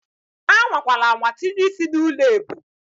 Anwakwala anwa tinye ị́sị́ n'ụlọ ebu!